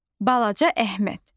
Balaca Əhməd.